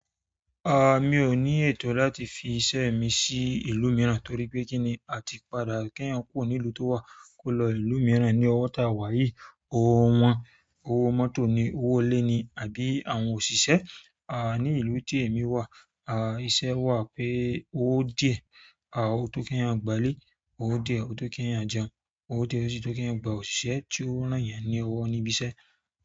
A mi ò ní ètò láti fi iṣẹ́ mi sí ìlú mìíràn torí pé kí ni a ti padà kí ẹ̀yàn kúrò nílùú tó wà kó lọ ìlú mìíràn ní ọwọ́ tá wáyìí. Owó wọn, owó mọ́tò ni, owó ilé ni àbí àwọn òṣìṣẹ́. A ní ìlú tí èmi wà, a iṣẹ́ wà pé owó díẹ̀ a ó tó kí ẹ̀yàn gba lé, owó díẹ̀ ó tó kí ẹ̀yàn jẹun, owó díẹ̀ ó sì tó kí ẹ̀yàn gba òṣìṣẹ́ tí ó rán ẹ̀yàn ní ọwọ́ níbi iṣẹ́.